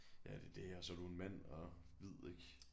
Ja det er det og så er du en mand og hvid ik